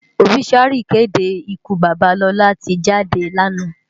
Óbisúári ìkédé ìkú baba Lola ti jádé láná.